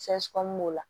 b'o la